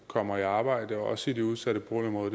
kommer i arbejde også i de udsatte boligområder